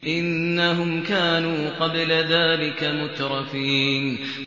إِنَّهُمْ كَانُوا قَبْلَ ذَٰلِكَ مُتْرَفِينَ